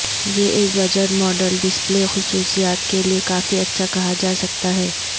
یہ ایک budget model display خصوصیات کے لئے کافی اچھا کہا جا سکتا ہے